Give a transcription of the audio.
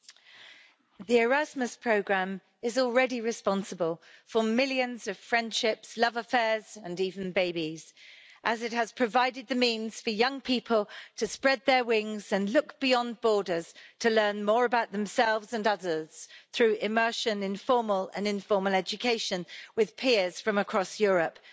Mr President, the Erasmus programme is already responsible for millions of friendships, love affairs and even babies, as it has provided the means for young people to spread their wings and look beyond borders to learn more about themselves and others through immersion in formal and informal education with peers from across Europe.